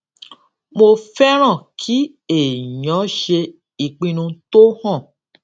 mo fẹràn kí èèyàn ṣe ìpinnu tó hàn